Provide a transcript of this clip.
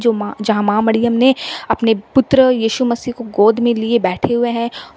जो मां जहाँ मां मरियम ने अपने पुत्र यीशु मसीह को गोद में लिए बैठे हुए हैं ।